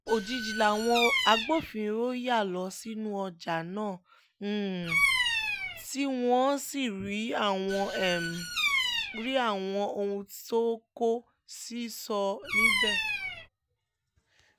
òjijì làwọn agbófinró ya lọ sínú ọjà náà tí wọ́n sì rí àwọn rí àwọn ohun tó kó sísọ níbẹ̀